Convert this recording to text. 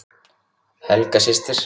Helga systir.